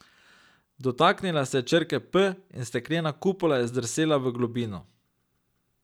Dotaknila se je črke P in steklena kupola je zdrsela v globino.